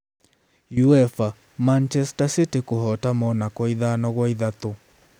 UEFA: Manchester City kũhoota Monaco 5-3